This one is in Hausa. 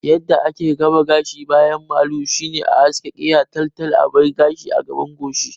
Yadda ake gaba gashi baya malu shine a haske keya tal tal sai a bar gashi a gaban goshi